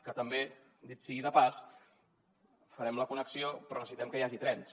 que també dit sigui de passada hi farem la connexió però necessitem que hi hagi trens